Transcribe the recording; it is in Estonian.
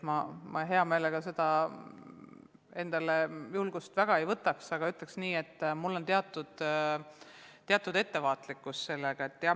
Ma hea meelega seda julgust endale ei võtaks, aga ütleksin nii, et ma olen suhtes ettevaatlik.